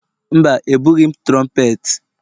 Mba, ebughị m trompeti.